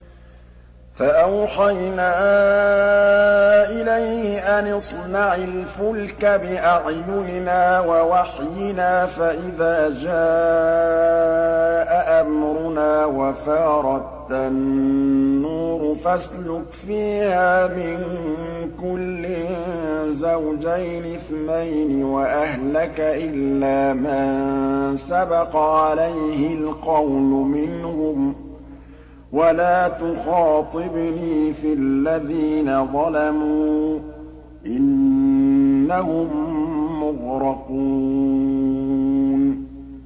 فَأَوْحَيْنَا إِلَيْهِ أَنِ اصْنَعِ الْفُلْكَ بِأَعْيُنِنَا وَوَحْيِنَا فَإِذَا جَاءَ أَمْرُنَا وَفَارَ التَّنُّورُ ۙ فَاسْلُكْ فِيهَا مِن كُلٍّ زَوْجَيْنِ اثْنَيْنِ وَأَهْلَكَ إِلَّا مَن سَبَقَ عَلَيْهِ الْقَوْلُ مِنْهُمْ ۖ وَلَا تُخَاطِبْنِي فِي الَّذِينَ ظَلَمُوا ۖ إِنَّهُم مُّغْرَقُونَ